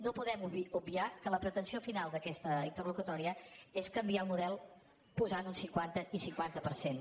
no podem obviar que la pretensió final d’aquesta interlocutòria és canviar el model posant un cinquanta i cinquanta per cent